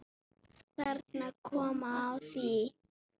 Þarna kom að því.